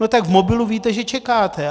No tak v mobilu víte, že čekáte.